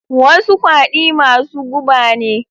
Wasu kwadi masu guba ne.